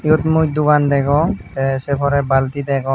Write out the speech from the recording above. iyot mui dogan degong te se pore balti degong.